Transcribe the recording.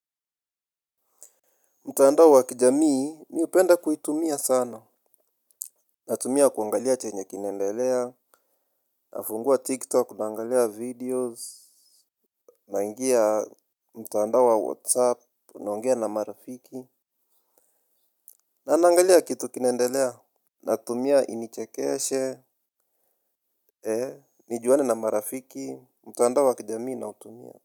Mtandao wakijamii mi upenda kuitumia sana. Natumia kuangalia chenye kinaendelea nafungua TikTok, naangalia videos. Naingia mtandao wa WhatsApp, naongea na marafiki. Na naangalia kitu kinaendelea. Natumia inichekeshe nijuane na marafiki. Mtaandawa wakijamii na utumia.